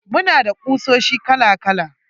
Muna da kusoshi kala kala.